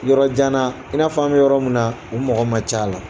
Yɔrɔ janana i n'a fɔ an bɛ yɔrɔ min na u mɔgɔ ma ca la